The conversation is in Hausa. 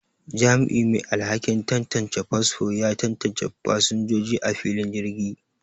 Jami'i mai alhakin tantance fasfo ya tantance fasinjoji a filin jirgi